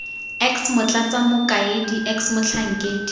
x motlatsa mokaedi x motlhankedi